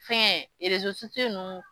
Fɛn nunnu